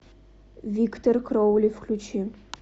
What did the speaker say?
виктор кроули включи